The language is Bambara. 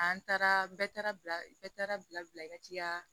An taara bɛɛ taara bɛɛ taara bila bila bila i ka tiga